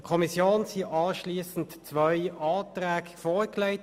Der Kommission wurden anschliessend zwei Anträge vorgelegt.